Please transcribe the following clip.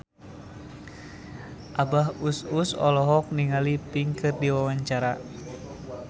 Abah Us Us olohok ningali Pink keur diwawancara